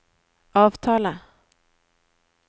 avtale